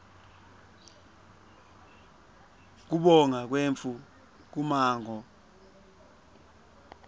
kubonga kwetfu kummango